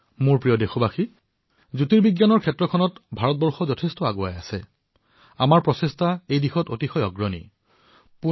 মোৰ মৰমৰ দেশবাসীসকল জ্যোতিৰ্বিজ্ঞানৰ ক্ষেত্ৰত ভাৰতে বহু আগবাঢ়ি গৈছে আৰু আমাৰ পদক্ষেপসমূহ পথ প্ৰদৰ্শক হিচাপেও বিবেচিত হৈছে